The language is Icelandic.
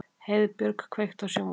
Heiðbjörg, kveiktu á sjónvarpinu.